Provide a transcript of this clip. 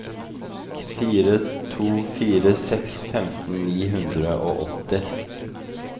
fire to fire seks femten ni hundre og åtti